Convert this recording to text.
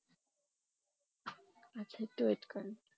আচ্ছা একটু wait করেন